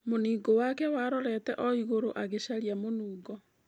Mũningũ wake warorete oigũrũ, agĩcaria mũnungo.